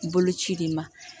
Bolo ci de ma